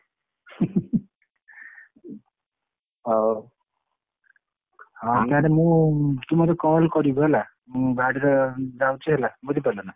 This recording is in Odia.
ହଉ ତାହେଲେ ମୁଁ ତୁ ମତେ call କରିବୁ ହେଲା ମୁଁ ବାହରିବି ଯାଉଛି ହେଲା ବୁଝିପାରିଲୁନା?